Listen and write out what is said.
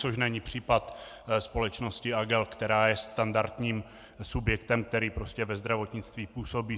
Což není případ společnosti AGEL, která je standardním subjektem, který prostě ve zdravotnictví působí.